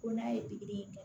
Ko n'a ye pikiri kɛ